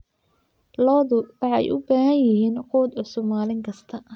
Lo'du waxay u baahan yihiin quud cusub maalin kasta.